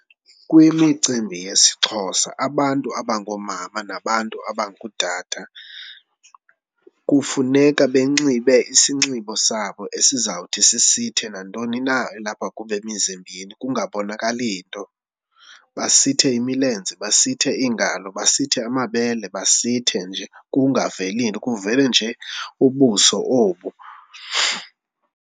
Kwimicimbi yesiXhosa, abantu abangoomama nabantu abangootata kufuneka benxibe isinxibo sabo esizawuthi sisithe nantoni na elapha kubo emizimbeni kungabonakali nto. Basithe imilenze, basithe iingalo, basithe amabele basithe nje kungaveli nto, kuvele nje ubuso obu.